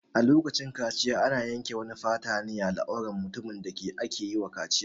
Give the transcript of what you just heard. A lokacin kaciya ana yanke wani fata ne a al'auran mutumin da ake wa kaciyar.